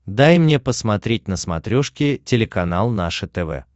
дай мне посмотреть на смотрешке телеканал наше тв